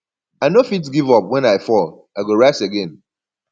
i no fit give up wen i fall i go rise again